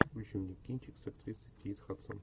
включи мне кинчик с актрисой кейт хадсон